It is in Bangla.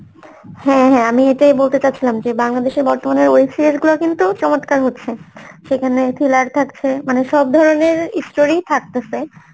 হ্যাঁ ঁ হ্যাঁ ঁ আমি এটাই বলতে চাচ্ছিলাম যে বাংলাদেশের বর্তমানের web series গুলো কিন্তু চমৎকার হচ্ছে সেখানে thriller থাকছে, মানে সব ধরনের story ই থাকতাছে